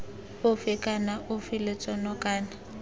ofe kana ofe lotseno kana